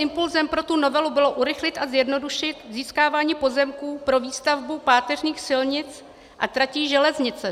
Impulsem pro tu novelu bylo urychlit a zjednodušit získávání pozemků pro výstavbu páteřních silnic a tratí železnice.